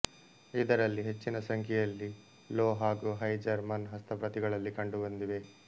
ಇದರಲ್ಲಿ ಹೆಚ್ಚಿನ ಸಂಖ್ಯೆಯಲ್ಲಿ ಲೋ ಹಾಗು ಹೈ ಜರ್ಮನ್ ಹಸ್ತಪ್ರತಿಗಳಲ್ಲಿ ಕಂಡುಬಂದಿವೆ